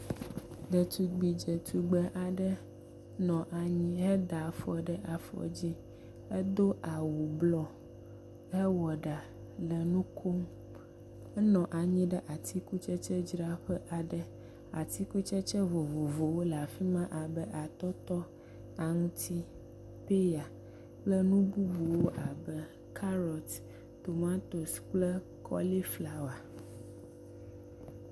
Ɖetugbi dzetugbe aɖe nɔ anyi heda afɔ ɖe afɔ dzi hedo awu blɔ hewɔ ɖa le nu kom henɔ anyi ɖe atikutsetsedzraƒe aɖe. atikutsetse vovovowo le afi ma abe; atɔtɔ, aŋtsi, peya kple nu bubuwo abe kaɖɔt, tomatosi kple kɔli flawa.